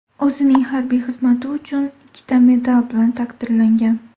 O‘zining harbiy xizmati uchun ikkita medal bilan taqdirlangan.